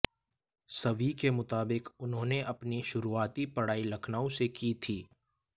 सवी के मुताबिक उन्होंने अपनी शुरुआती पढ़ाई लखनऊ से की थी